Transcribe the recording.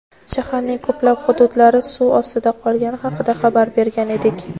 shaharning ko‘plab hududlari suv ostida qolgani haqida xabar bergan edik.